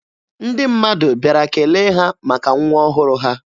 Ndị mmadụ bịara kele ha maka nwa ọhụrụ ha.